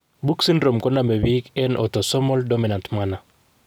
Book syndrome ko nomepik en autosomal dominant manner.